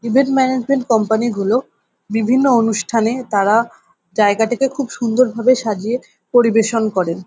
Event management company গুলো বিভিন্ন অনুষ্ঠানে তারা জায়গাটাকে খুব সুন্দর ভাবে সাজিয়ে পরিবেশন করেন ।